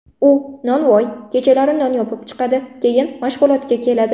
U nonvoy, kechalari non yopib chiqadi, keyin mashg‘ulotga keladi.